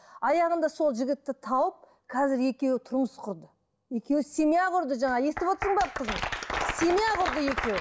аяғында сол жігітті тауып қазір екеуі тұрмыс құрды екеуі семья құрды жаңа естіп отырсың ба қызым семья құрды екеуі